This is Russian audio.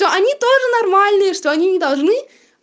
они тоже нормальные что они не должны